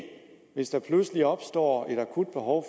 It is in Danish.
hvis der pludselig opstår et akut behov